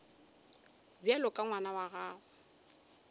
bjalo ka ngwana wa gago